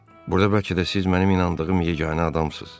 Burda bəlkə də siz mənim inandığım yeganə adamsız.